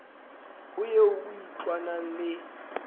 ho eo o itlwanang le